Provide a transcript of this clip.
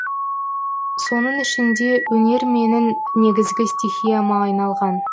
соның ішінде өнер менің негізгі стихияма айналған